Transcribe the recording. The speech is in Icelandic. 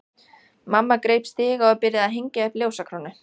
Mamma greip stiga og byrjaði að hengja upp ljósakrónu.